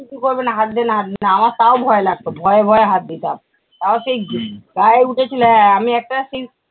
কিছু করবে না, হাত দে না হাত দে না আমার তাও ভয় লাগতো, ভয়ে ভয়ে হাত দিতাম। আবার সেই গায়ে উঠেছিল এ এ একটা সেই